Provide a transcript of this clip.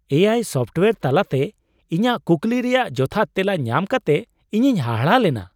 ᱮ ᱟᱭ ᱥᱚᱯᱷᱴᱣᱭᱮᱨ ᱛᱟᱞᱟᱛᱮ ᱤᱧᱟᱹᱜ ᱠᱩᱠᱞᱤ ᱨᱮᱭᱟᱜ ᱡᱚᱛᱷᱟᱛ ᱛᱮᱞᱟ ᱧᱟᱢ ᱠᱟᱛᱮ ᱤᱧᱤᱧ ᱦᱟᱦᱟᱲᱟᱜ ᱞᱮᱱᱟ ᱾